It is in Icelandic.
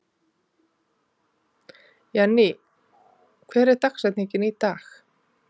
Jenny, hver er dagsetningin í dag?